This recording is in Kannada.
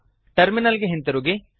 ಟರ್ಮಿನಲ್ ಗೆ ಹಿಂತಿರುಗಿ